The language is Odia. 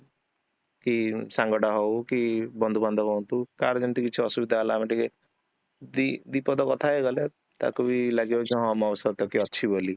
କି ସାଙ୍ଗଟା ହାଉ କି, ବନ୍ଧୁ ବାଦ୍ଧବ ହୁଅନ୍ତୁ କାହାର ଯେମିତି କିଛି ଅସୁବିଧା ହେଲା ଆମେ ଟିକେ ଦୁଇ ପଦ କଥା ହେଇ ଗଲେ, ତାକୁବି ଲାଗିବ କି ହଁ ମୋ ସହିତ କିଏ ଅଛି ବୋଲି